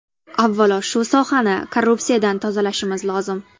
Avvalo, shu sohani korrupsiyadan tozalashimiz lozim.